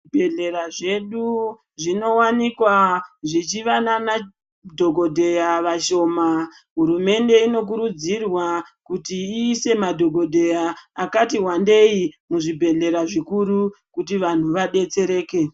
Zvibhehlera zvedu zvinowanikwa zvichiva nana dhikodheya vashoma hurumende inokurudzirwa kuti iyise madhokodheya akatiwandei muzvibhehlera zvikuru kuti vantu vadetsereke.